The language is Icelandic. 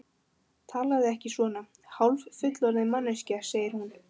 Talaðu ekki svona, hálffullorðin manneskjan, segir hún.